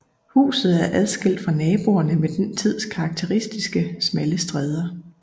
Huset er adskilt fra naboerne med den tids karakteristiske smalle stræder